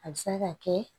A bɛ se ka kɛ